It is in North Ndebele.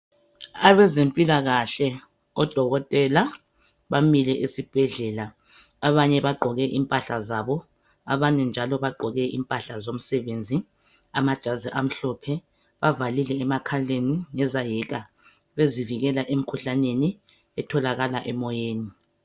Abezempikahle odokotela bamile esibhedlela abanye bagqoke impahla zabo abanye njalo bagqoke impahla zomsebenzi amajazi amhlophe bavalile emakhaleni ngezahika bezivikele emkhuhlaneni etholakala emoyeni